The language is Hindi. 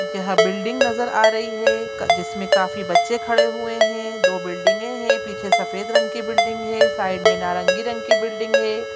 यहाँ बिल्डिंग नजर आ रही है का जिसमें काफी बच्चे खड़े हुए हैं दो बिल्डिंगे है पीछे सफेद रंग की बिल्डिंग है साइड में नारंगी रंग की बिल्डिंग है।